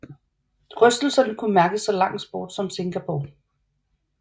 Rystelser kunne mærkes så langt bort som i Singapore